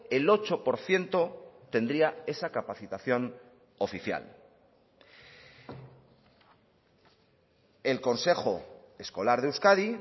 el ocho por ciento tendría esa capacitación oficial el consejo escolar de euskadi